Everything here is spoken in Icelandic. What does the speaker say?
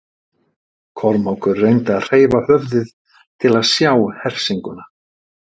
Kormákur reyndi að hreyfa höfuðið til að sjá hersinguna.